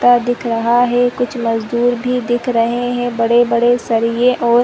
का दिख रहा है कुछ मजदूर भी दिख रहे हैं बड़े-बड़े सरिए और --